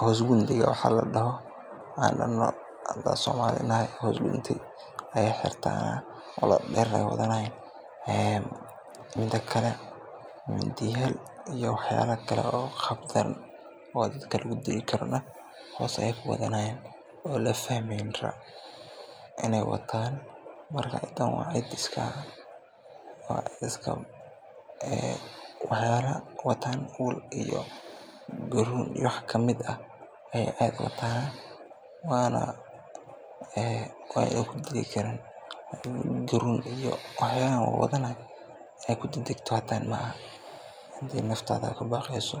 hoos gundiga waxa ladoho ayeey xirtaan ula dadeer neh waay wadanayaan, mida kale mindiya iyo wax yaaba kale oo dadka lagu dili karo hoos ayeey ku wadanaayan oo aan la fahmeynim, ciidan waa cid ul iyo garuun ayeey aad uwataana waana kudili karaan, inaad ku dagdagto maahan hadii aad naftada ubaqeyso.